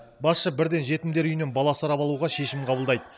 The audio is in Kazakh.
басшы бірден жетімдер үйінен бала асырап алуға шешім қабылдайды